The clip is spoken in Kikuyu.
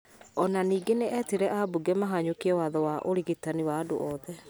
O na ningĩ nĩ etire ambunge mahanyũkie watho wa ũrigitani wa andũ othe.